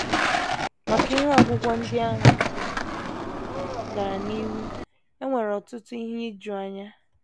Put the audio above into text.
Ma ka ihe ogwugwu ndị ahụ gara n’ihu, e nwere ọtụtụ ihe ijuanya.